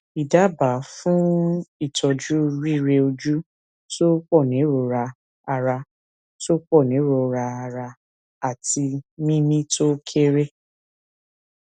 idaba fun itoju rireoju to ponirora ara to ponirora ara ati mimi to kere